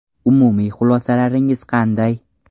Umumiy xulosalaringiz qanday?